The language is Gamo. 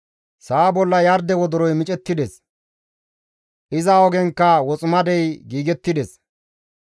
Sa7a bolla yarde wodoroy micettides; iza ogenkka woximadey giigettides.